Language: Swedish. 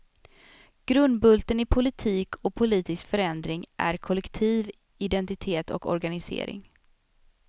Grundbulten i politik och politisk förändring är kollektiv identitet och organisering.